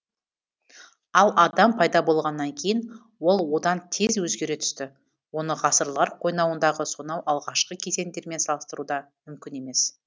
ал адам пайда болғаннан кейін ол одан тез өзгере түсті оны ғасырлар қойнауындағы сонау алғашқы кезеңдермен салыстыру да мүмкін емес